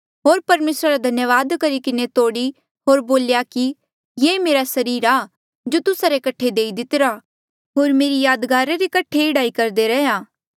होर परमेसरा रा धन्यावाद करी किन्हें तोड़ी होर बोल्या कि ये मेरा सरीर आ जो तुस्सा रे कठे देई दितिरा होर मेरी यादगारा रे कठे एह्ड़ा ही करदे रैहया